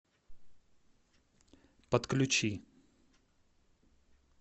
подключи